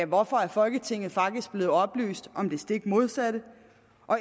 hvorfor er folketinget faktisk blevet oplyst om det stik modsatte